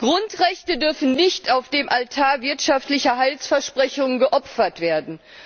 Grundrechte dürfen nicht auf dem Altar wirtschaftlicher Heilsversprechungen geopfert werden!